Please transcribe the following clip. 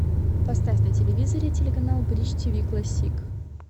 поставь на телевизоре телеканал бридж тв классик